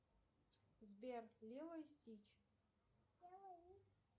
сбер лило и стич